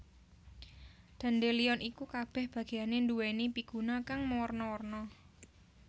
Dandelion iku kabèh bagéyané nduwèni piguna kang mawarna warna